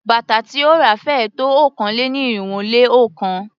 Bàtà tí ó ra féé tó okòó-lé-ní-irínwó-lé-ọ̀kan.